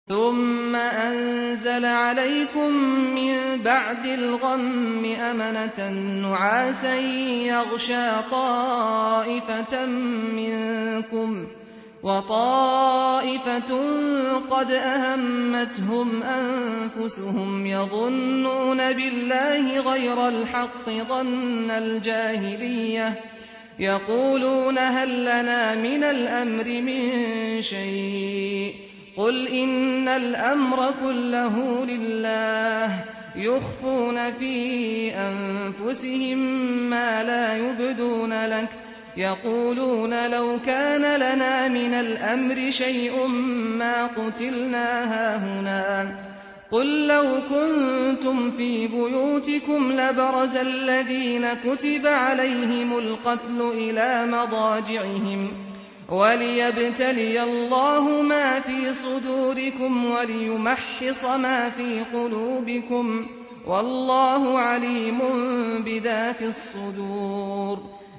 ثُمَّ أَنزَلَ عَلَيْكُم مِّن بَعْدِ الْغَمِّ أَمَنَةً نُّعَاسًا يَغْشَىٰ طَائِفَةً مِّنكُمْ ۖ وَطَائِفَةٌ قَدْ أَهَمَّتْهُمْ أَنفُسُهُمْ يَظُنُّونَ بِاللَّهِ غَيْرَ الْحَقِّ ظَنَّ الْجَاهِلِيَّةِ ۖ يَقُولُونَ هَل لَّنَا مِنَ الْأَمْرِ مِن شَيْءٍ ۗ قُلْ إِنَّ الْأَمْرَ كُلَّهُ لِلَّهِ ۗ يُخْفُونَ فِي أَنفُسِهِم مَّا لَا يُبْدُونَ لَكَ ۖ يَقُولُونَ لَوْ كَانَ لَنَا مِنَ الْأَمْرِ شَيْءٌ مَّا قُتِلْنَا هَاهُنَا ۗ قُل لَّوْ كُنتُمْ فِي بُيُوتِكُمْ لَبَرَزَ الَّذِينَ كُتِبَ عَلَيْهِمُ الْقَتْلُ إِلَىٰ مَضَاجِعِهِمْ ۖ وَلِيَبْتَلِيَ اللَّهُ مَا فِي صُدُورِكُمْ وَلِيُمَحِّصَ مَا فِي قُلُوبِكُمْ ۗ وَاللَّهُ عَلِيمٌ بِذَاتِ الصُّدُورِ